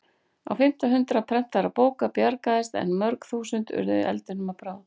Á fimmta hundrað prentaðra bóka bjargaðist en mörg þúsund urðu eldinum að bráð.